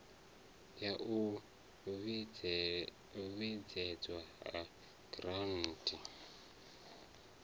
ya u vhuedzedzwa ha giranthi